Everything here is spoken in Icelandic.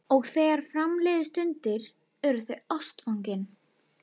Og þegar fram liðu stundir urðu þau ástfangin.